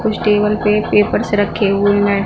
कुछ टेबल पे पेपर्स रखे हुए हैं।